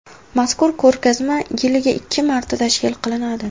Mazkur ko‘rgazma yiliga ikki marta tashkil qilinadi.